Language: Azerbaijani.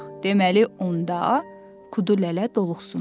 Deməli onda Kudulələ doluxsundu.